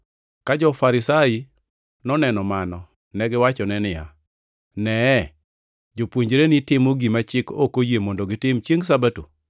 Ka jo-Farisai noneno mano, negiwachone niya, “Neye! Jopuonjreni timo gima chik ok oyie mondo gitim chiengʼ Sabato.”